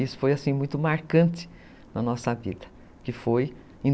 Isso foi muito marcante na nossa vida, que foi em